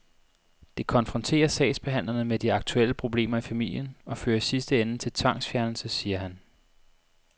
Det konfronterer sagsbehandlerne med de aktuelle problemer i familien og fører i sidste ende til tvangsfjernelse, siger han.